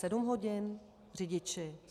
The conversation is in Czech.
Sedm hodin, řidič?